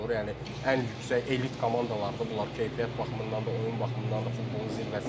Yəni ən yüksək elit komandadır bunlar, keyfiyyət baxımından da, oyun baxımından da futbolun zirvəsidir.